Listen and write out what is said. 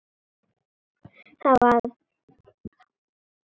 Það var orðið langt síðan þau höfðu verið samvistum daglangt.